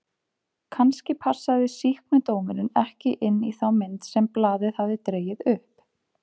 Kannski passaði sýknudómurinn ekki inn í þá mynd sem blaðið hafði dregið upp?